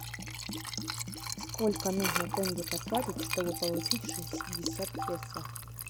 сколько нужно тенге потратить чтобы получить шестьдесят песо